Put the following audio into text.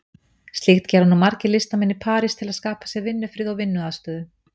Slíkt gera nú margir listamenn í París til að skapa sér vinnufrið og vinnuaðstöðu.